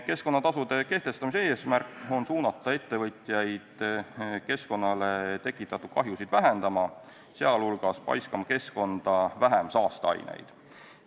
Keskkonnatasude kehtestamise eesmärk on suunata ettevõtjaid keskkonnale tekitatud kahjusid vähendama, sh paiskama keskkonda vähem saasteaineid.